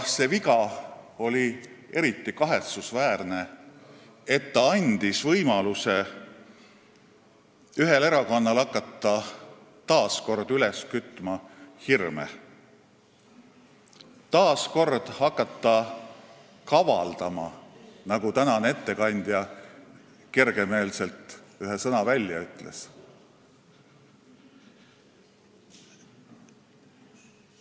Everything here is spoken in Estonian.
See viga oli eriti kahetsusväärne, sest ta andis ühele erakonnale võimaluse hakata taas kord üles kütma hirme, taas kord hakata kavaldama, nagu tänane ettekandja kergemeelselt välja ütles.